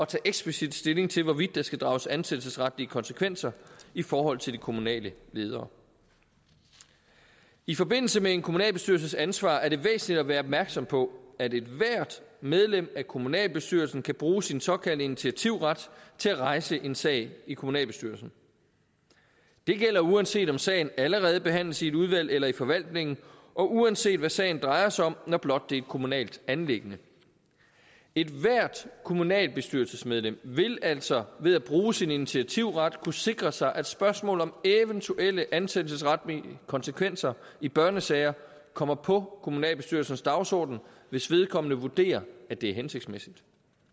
tage eksplicit stilling til hvorvidt der skal drages ansættelsesretlige konsekvenser i forhold til de kommunale ledere i forbindelse med en kommunalbestyrelses ansvar er det væsentligt at være opmærksom på at ethvert medlem af kommunalbestyrelsen kan bruge sin såkaldte initiativret til at rejse en sag i kommunalbestyrelsen det gælder uanset om sagen allerede behandles i et udvalg eller i forvaltningen og uanset hvad sagen drejer sig om når blot det er et kommunalt anliggende ethvert kommunalbestyrelsesmedlem vil altså ved at bruge sin initiativret kunne sikre sig at spørgsmål om eventuelle ansættelsesretlige konsekvenser i børnesager kommer på kommunalbestyrelsens dagsorden hvis vedkommende vurderer at det er hensigtsmæssigt